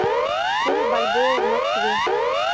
курс бальбоа в москве